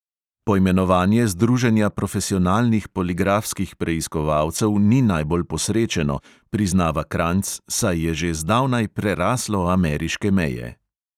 Poimenovanje združenja profesionalnih poligrafskih preiskovalcev ni najbolj posrečeno, priznava kranjc, saj je že zdavnaj preraslo ameriške meje.